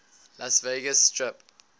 las vegas strip